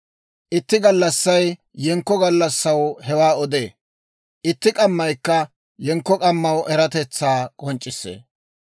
Itti gallassay yenkko gallassaw hewaa odee; itti k'ammaykka yenkko k'ammaw eratetsaa k'onc'c'issee.